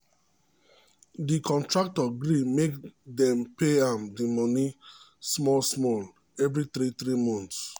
the contractor gree make dem pay am the money small small every three three months